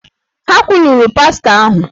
Ha kwuluru pastọ ahụ!